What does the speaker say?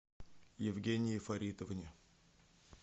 евгении фаритовне